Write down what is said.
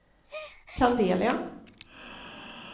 Candelia